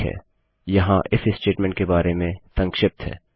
ठीक है यहाँ इफ statementस्टेट्मेन्ट के बारे में संक्षिप्त है